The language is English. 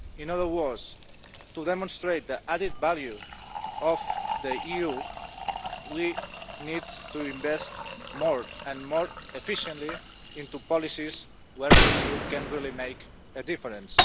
In other words, to demonstrate the added value of the EU, we need to invest more and more efficiently in policies where the EU can really make a difference.